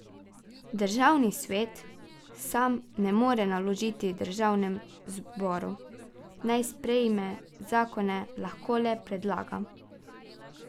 Državni svet sam ne more naložiti državnemu zboru, naj sprejme zakon, lahko le predlaga.